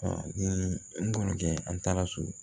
n balimakɛ an taara so